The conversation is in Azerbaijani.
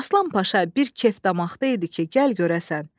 Aslan Paşa bir kef damaqda idi ki, gəl görəsən.